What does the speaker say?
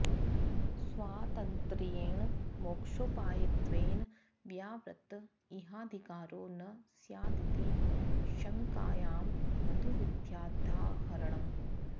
स्वातन्त्र्येण मोक्षोपायत्वेन व्यावृत्त इहाधिकारो न स्यादिति शङ्कायां मधुविद्याद्य्दाहरणम्